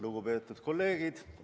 Lugupeetud kolleegid!